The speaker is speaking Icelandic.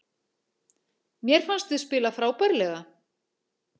Mér fannst við spila frábærlega